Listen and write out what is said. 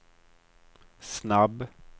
snabb